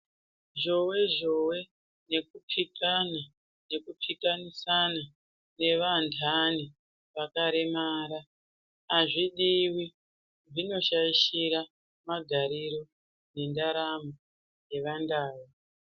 Zhowe zhowe yekukikana ekukikanisana yevandani vakaremara azvidiwi zvinoshaishira nemagarire endaramo yevandau.